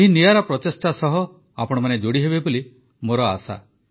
ଏହି ନିଆରା ପ୍ରଚେଷ୍ଟା ସହ ଆପଣମାନେ ଯୋଡ଼ି ହେବେ ବୋଲି ମୋର ଆଶା